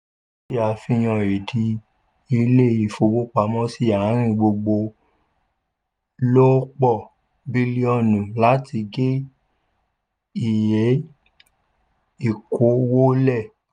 eléyìí se àfihàn ìdí ilé ifowópamọ́sí àárín gbùngbùn lòpọ̀ bílíọ̀nu láti gé iye ìkó wọlé.